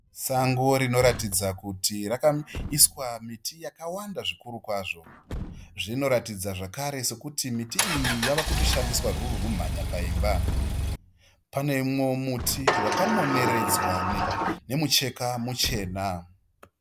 Sango rinoratidza kuti rakaiswa miti yakawanda zvikuru kwazvo. Zvinoratidza zvekare sekuti miti iyi yave kushandiswa ruri rumhanya paimba. Pane mumwe wo muti waka moneredzwa nemucheka muchena.